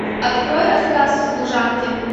открой рассказ служанки